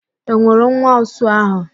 Ị nwụrụ nwa ụsụ ahụ?